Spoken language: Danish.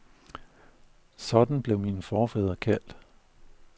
Sådan blev mine forfædre kaldt.